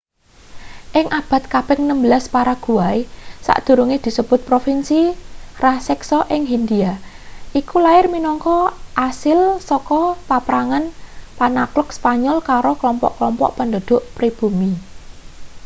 ing abad kaping 16 paraguay sadurunge disebut provinsi raseksa ing hindia iku lair minangka asil saka paprangan penakhluk spanyol karo kelompok-kelompok penduduk pribumi